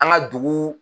An ka dugu